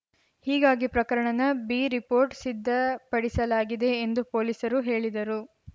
ಹೀಗಾಗಿ ಪ್ರಕರಣನ ಬಿರಿಪೋರ್ಟ್‌ ಸಿದ್ಧಪಡಿಸಲಾಗಿದೆ ಎಂದು ಪೊಲೀಸರು ಹೇಳಿದರು